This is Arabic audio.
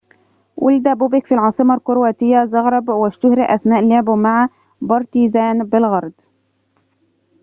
ولد بوبيك في العاصمة الكرواتية زغرب واشتُهِر أثناء لعبه مع بارتيزان بلغراد